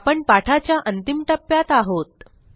आपण पाठाच्या अंतिम टप्प्यात आहोत